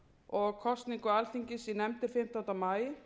og kosningu alþingis í nefndir fimmtánda maí